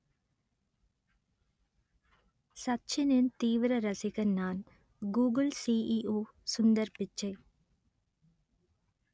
சச்சினின் தீவிர ரசிகன் நான் கூகுள் சிஇஓ சுந்தர் பிச்சை